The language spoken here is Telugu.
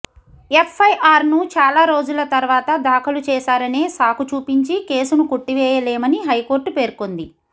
ఎఫ్ఐఆర్ను చాలా రోజుల తర్వాత దాఖలు చేశారనే సాకు చూపించి కేసును కొట్టివేయలేమని హైకోర్టు పేర్కొంది